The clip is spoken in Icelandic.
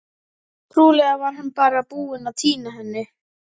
Trúlega var hann bara búinn að týna henni.